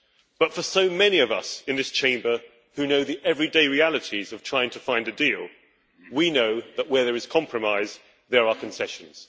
But for so many of us in this Chamber, who know the everyday realities of trying to find a deal, we know that where there is compromise, there are concessions.